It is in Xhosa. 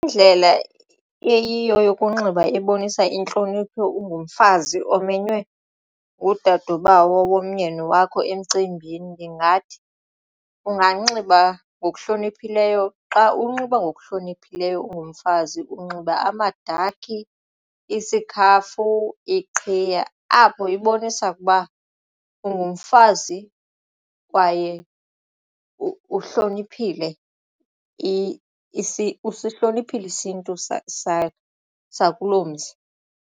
Indlela eyiyo yokunxiba ebonisa intlonipho ungumfazi omenywe ngudadobawo womyeni wakho emcimbini ndingathi unganxiba ngokuhloniphileyo. Xa unxiba ngokuhloniphileyo ungumfazi unxiba amadakhi isikhafu iqhiya. Apho ibonisa ukuba ungumfazi kwaye usihloniphile isiNtu sakuloo mzi.